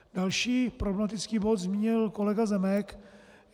Další problematický bod zmínil kolega Zemek.